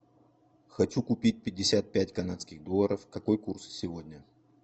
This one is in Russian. хочу купить пятьдесят пять канадских долларов какой курс сегодня